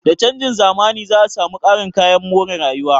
Da canjin zamani, za a samu ƙarin kayayyakin more rayuwa